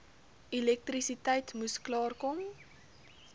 elektrisiteit moes klaarkom